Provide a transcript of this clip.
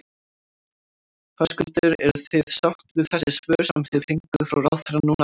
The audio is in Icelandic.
Höskuldur: Eruð þið sátt við þessi svör sem þið fenguð frá ráðherra núna áðan?